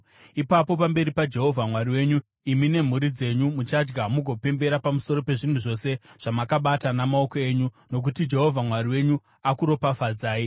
Ipapo pamberi paJehovha Mwari wenyu, imi nemhuri dzenyu muchadya mugopembera pamusoro pezvinhu zvose zvamakabata namaoko enyu, nokuti Jehovha Mwari wenyu akuropafadzai.